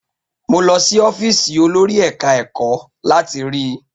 Mo lọ sí ọ́fíìsì olòrì eka-eko láti rí i.